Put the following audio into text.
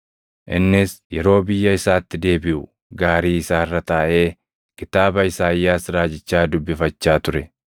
Innis yeroo biyya isaatti deebiʼu gaarii isaa irra taaʼee kitaaba Isaayyaas raajichaa dubbifachaa ture.